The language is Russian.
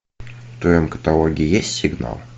в твоем каталоге есть сигнал